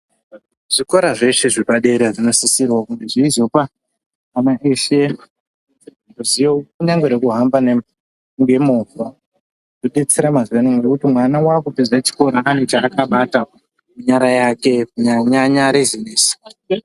Zvikora zveshe zvepadera zvinosisrwa kuti zvizopa ana vese ruzivo kunyangwe rekuhamba ngemoova. Zvodetsera mazuvaanaya kuti mwana aakupeze chikoro ane chaakabata munyara yake kunyanyanyanya bhizinesi.